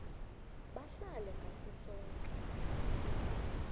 bahlale ngaso soke